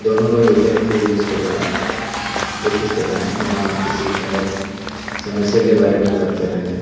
दोनों लोग ATM use कर रहे हैं कोशिश कर रहे हैं या किसी शायद समस्या के बारे में बात कर रहे हैं।